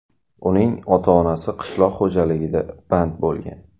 Uning ota-onasi qishloq xo‘jaligida band bo‘lgan.